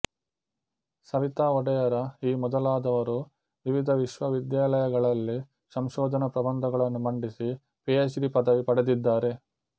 ಸವಿತಾ ಒಡೆಯರ ಈ ಮೊದಲಾದವರು ವಿವಿಧ ವಿಶ್ವವಿದ್ಯಾಲಯಗಳಲ್ಲಿ ಸಂಶೋಧನಾ ಪ್ರಬಂಧಗಳನ್ನು ಮಂಡಿಸಿ ಪಿಎಚ್ ಡಿ ಪದವಿ ಪಡೆದಿದ್ದಾರೆ